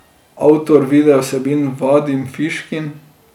Avtor videovsebin Vadim Fiškin.